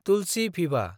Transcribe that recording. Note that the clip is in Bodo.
तुलसि भिभआ